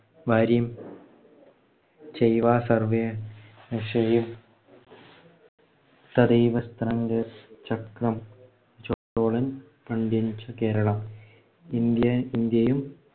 . India ഇന്ത്യയില്‍